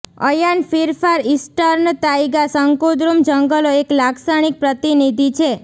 અયાન fir far eastern taiga શંકુદ્રુમ જંગલો એક લાક્ષણિક પ્રતિનિધિ છે